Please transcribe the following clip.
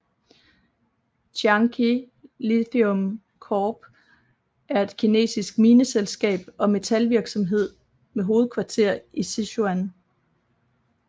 Tianqi Lithium Corp er et kinesisk mineselskab og metalvirksomhed med hovedkvarter i Sichuan